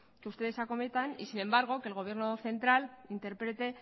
que ustedes acometen y sin embargo que el gobierno central interprete